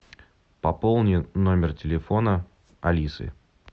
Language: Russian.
пополни номер телефона алисы